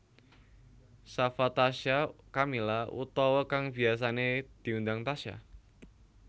Shafa Tasya Kamila utawa kang biyasané diundang Tasya